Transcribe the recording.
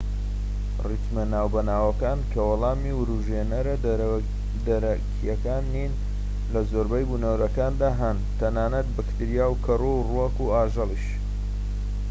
ریتمە ناوبەناوەکان کە وەڵامی وروژێنەرە دەرەکیەکان نین لە زۆربەی بونەوەرەکاندا هەن تەنانەت بەکتریا و کەڕوو و ڕووەك و ئاژەڵیش